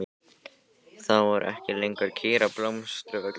Þá voru ekki lengur kýr á Blómsturvöllum.